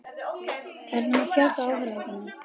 Hvernig má fjölga áhorfendum?